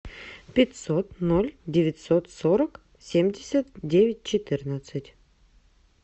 пятьсот ноль девятьсот сорок семьдесят девять четырнадцать